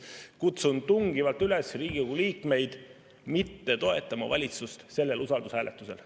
Kutsun tungivalt üles Riigikogu liikmeid mitte toetama valitsust sellel usaldushääletusel.